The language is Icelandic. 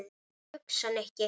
Hvað ertu að hugsa, Nikki?